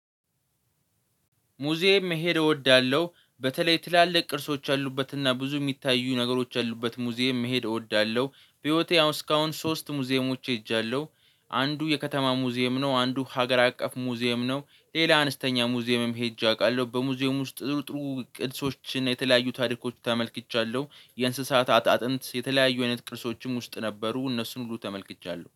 ሙዚየም መሄድ እወዳለሁ በተለይ ትላልቅ ቅርሶች አሉበት እና ብዙ የሚታዩ ነገሮች አሉበት ሙዚየም መሄድ እወዳለሁ። በህይወቴ አሁን እስካሁን ሶስት ሙዚየሞች ሄጃለሁ። አንዱ የከተማ ሙዚየም ነው አንዱ ሀገር አቀፍ ሙዚየም ነው። ሌላ አነስተኛ ሙዚየምም ሄጄ አውቃለሁ። በሙዚየም ውስጥ ጥሩ ጥሩ ቅርሶችን የተለያዩ ታሪኮች ተመልክቻለሁ። የእንስሳት አጥንት የተለያዩ አይነት ቅልሶችም ውስጥ ነበሩ። እነሱን ሁሉ ተመልክቻለሁ